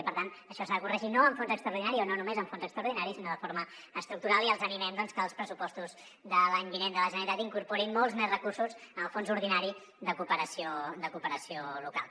i per tant això s’ha de corregir no amb fons extraordinaris o no només amb fons extraordinaris sinó de forma estructural i els animem a que els pressupostos de l’any vinent de la generalitat incorporin molts més recursos al fons ordinari de cooperació local